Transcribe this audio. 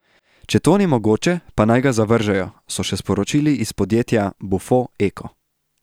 Če to ni mogoče, pa naj ga zavržejo, so še sporočili iz podjetja Bufo Eko.